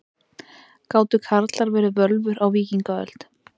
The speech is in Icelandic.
Gátu karlar verið völvur á víkingaöld?